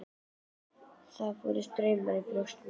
Þá fór straumur um brjóst mér.